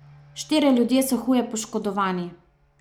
Štirje ljudje so huje poškodovani.